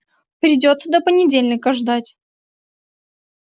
придётся до понедельника ждать